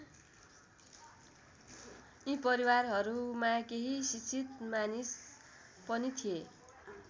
यी परिवारहरूमा केही शिक्षित मानिस पनि थिए।